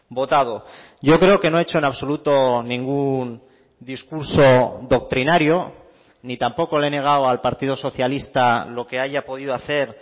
votado yo creo que no ha hecho en absoluto ningún discurso doctrinario ni tampoco le he negado al partido socialista lo que haya podido hacer